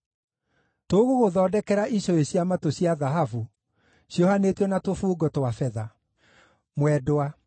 Tũgũgũthondekera icũhĩ cia matũ cia thahabu, ciohanĩtio na tũbungo twa betha.